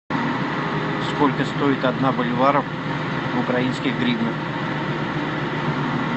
сколько стоит одна боливара в украинских гривнах